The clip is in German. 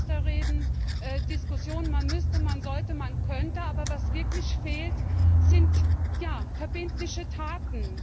Schaufensterreden, Diskussionen, man müsste, man sollte, man könnte aber was wirklich fehlt, sind verbindliche Taten.